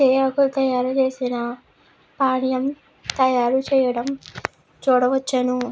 తేయాకు తయారు చేసినా పానీయం తయారు చేయడం చూడవచ్చును.